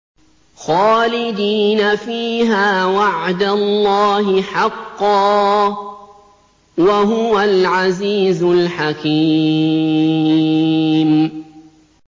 خَالِدِينَ فِيهَا ۖ وَعْدَ اللَّهِ حَقًّا ۚ وَهُوَ الْعَزِيزُ الْحَكِيمُ